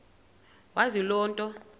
wazi loo nto